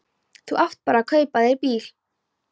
Þú átt bara að kaupa þér bíl!